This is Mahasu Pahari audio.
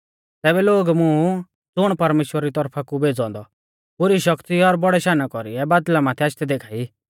तैबै लोग मुं ज़ुण परमेश्‍वरा री तौरफा कु भेज़ौ औन्दौ ऊ पुरी शक्ति और बौड़ै शाना कौरीऐ बादल़ा माथै आशदै देखा ई